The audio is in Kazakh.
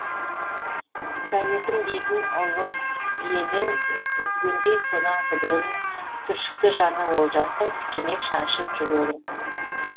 советім дейтін ұлы елін үзгендей содан күдерін түршікті жаны олжастың тікенек шаншып жүрегін